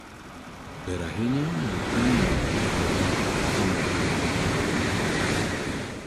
Ber ahinya mondo pimi kopo in elai marach mar yudo tuo.